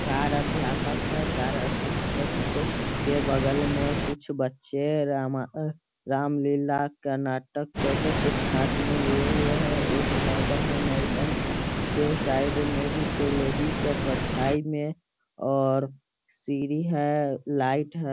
चार अध्यापक है चार अध्यापक के बगल में कुछ बच्चे रामा रामलीला का नाटक करके कुछ हाथ में लिए हुए हैं एक मैडम और मैडम के साइड में भी कोई लेडिस है परछाई में और सीढ़ी है लाइट है।